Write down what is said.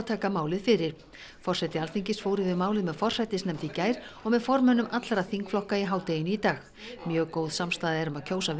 taka málið fyrir forseti Alþingis fór yfir málið með forsætisnefnd í gær og með formönnum allra þingflokka í hádeginu í dag mjög góð samstaða er um að kjósa